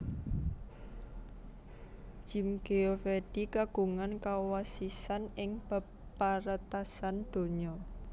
Jim Geovedi kagungan kawasisan ing bab paretasan donya